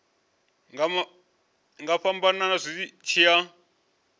nga fhambana zwi tshi ya